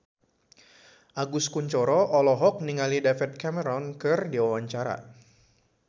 Agus Kuncoro olohok ningali David Cameron keur diwawancara